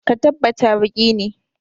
Ka tabbt baki ne!